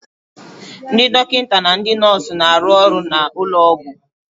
Ndị dọkịta na ndị nọọsu na-arụ ọrụ n'ụlọ ọgwụ